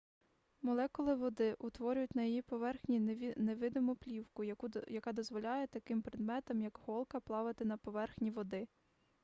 молекули води утворюють на її поверхні невидиму плівку яка дозволяє таким предметам як голка плавати на поверхні води